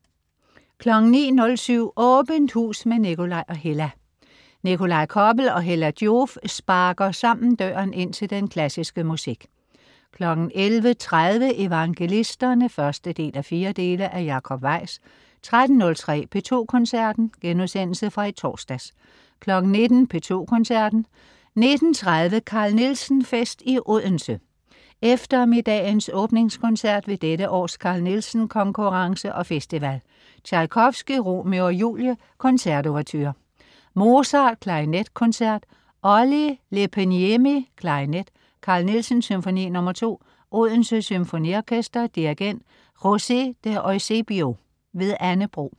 09.07 Åbent hus med Nikolaj og Hella. Nikolaj Koppel og Hella Joof sparker sammen døren ind til den klassiske musik 11.30 Evangelisterne 1:4 af Jacob Weis 13.03 P2 Koncerten.* Genudsendelse fra i torsdags 19.00 P2 Koncerten. 19.30 Carl Nielsen-fest i Odense. Eftermiddagens åbningskoncert ved dette års Carl Nielsen Konkurrence og festival. Tjajkovskij: Romeo og Julie, koncertouverture. Mozart: Klarinetkoncert. Olli Leppäniemi, klarinet. Carl Nielsen: Symfoni nr. 2. Odense Symfoniorkester. Dirigent: José De Eusebio. Anne Bro